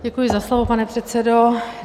Děkuji za slovo, pane předsedo.